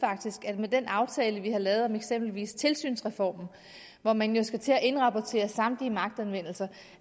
at med den aftale vi har lavet om eksempelvis tilsynsreformen hvor man jo skal til at indrapportere samtlige magtanvendelser